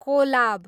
Kolab